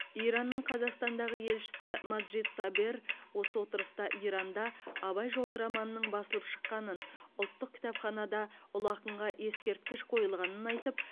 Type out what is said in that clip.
иранның қазақстандағы елшісі маджид сабер осы отырыста иранда абай жолы романының басылып шыққанын ұлттық кітапханада ұлы ақынға ескерткіш қойылғанын айтып